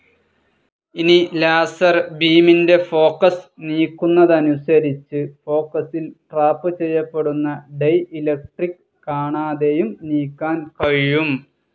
ഇനി, ലാസർ ബീമിൻ്റെ ഫോക്കസ്‌ നീക്കുന്നതനുസരിച്ചു, ഫോക്കസിൽ ട്രാപ്പ്‌ ചെയ്യപ്പെടുന്ന ഡയലക്ട്രിക്‌ കാണാതെയും നീക്കാൻ കഴിയും.